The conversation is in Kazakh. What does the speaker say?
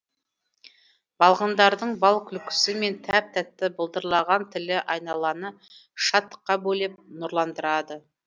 балғындардың бал күлкісі мен тәп тәтті былдырлаған тілі айналаны шаттыққа бөлеп нұрландырады